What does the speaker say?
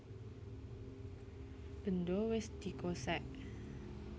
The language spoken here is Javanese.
Bendho wis dikosèk